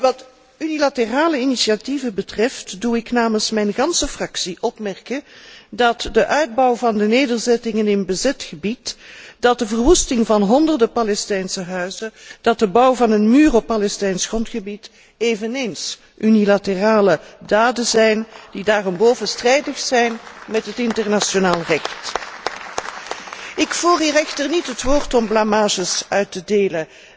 Wat unilaterale initiatieven betreft doe ik namens mijn ganse fractie opmerken dat de bouw van de nederzettingen in bezet gebied, dat de verwoesting van honderden Palestijnse huizen, dat de bouw van een muur op Palestijns grondgebied eveneens unilaterale daden zijn, die daarenboven strijdig zijn met het internationaal recht. Ik voer hier echter niet het woord om blamages uit te delen.